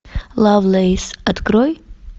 лавлэйс открой